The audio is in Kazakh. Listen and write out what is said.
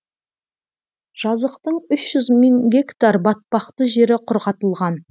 жазықтың үш жүз мың гектар батпақты жері құрғатылған